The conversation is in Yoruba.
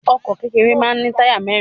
Ọkọ̀ kékeré máa ń ní táyà mẹ́rin.